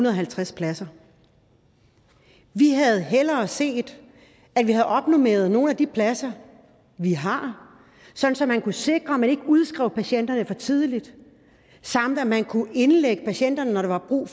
og halvtreds pladser vi havde hellere set at vi havde opnormeret nogle af de pladser vi har sådan at man kunne sikre at man ikke udskrev patienterne for tidligt samt at man kunne indlægge patienterne når der var brug